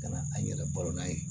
Ka na an yɛrɛ balo n'a ye